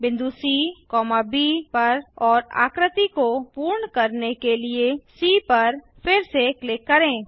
बिंदु सी ब पर और आकृति को पूर्ण करने के लिए सी पर फिर से क्लिक करें